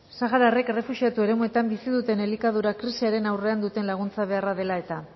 sahararrek errefuxiatu eremuetan bizi duten elikadura krisiaren aurrean duten laguntza beharra dela eta